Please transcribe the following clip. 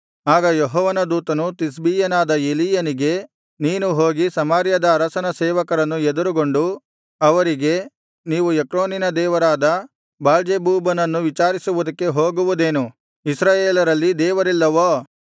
ಆಗ ಯೆಹೋವನ ದೂತನು ತಿಷ್ಬೀಯನಾದ ಎಲೀಯನಿಗೆ ನೀನು ಹೋಗಿ ಸಮಾರ್ಯದ ಅರಸನ ಸೇವಕರನ್ನು ಎದುರುಗೊಂಡು ಅವರಿಗೆ ನೀವು ಎಕ್ರೋನಿನ ದೇವರಾದ ಬಾಳ್ಜೆಬೂಬನನ್ನು ವಿಚಾರಿಸುವುದಕ್ಕೆ ಹೋಗುವುದೇನು ಇಸ್ರಾಯೇಲರಲ್ಲಿ ದೇವರಿಲ್ಲವೋ